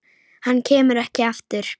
Hann kemur ekki aftur.